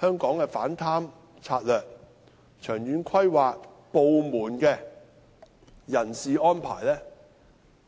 香港的反貪策略和部門的人事安排？